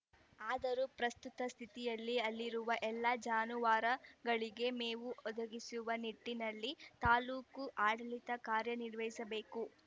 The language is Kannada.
ಆದರೂ ಪ್ರಸ್ತುತ ಸ್ಥಿತಿಯಲ್ಲಿ ಅಲ್ಲಿರುವ ಎಲ್ಲಾ ಜಾನುವಾರಗಳಿಗೆ ಮೇವು ಒದಗಿಸುವ ನಿಟ್ಟಿನಲ್ಲಿ ತಾಲೂಕು ಆಡಳಿತ ಕಾರ್ಯನಿರ್ವಹಿಸಬೇಕು